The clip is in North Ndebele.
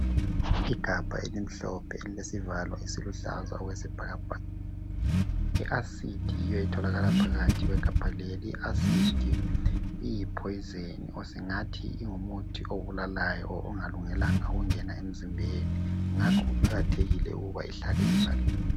Igabha elimhlophe elilesivalo esiluhlaza okwesibhakabhaka.I"acid" yiyo etholakala phakathi kwegabha leli.I"acid" iyi "poison" ,singathi ngumuthi obulalayo ongalungelanga ukungena emzimbeni ngakho kuqakathekile ukuthi ihlale ivaliwe.